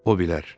O bilər.